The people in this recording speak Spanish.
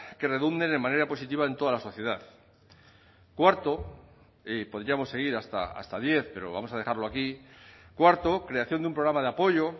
que redunden en manera positiva en toda la sociedad cuarto y podríamos seguir hasta diez pero vamos a dejarlo aquí cuarto creación de un programa de apoyo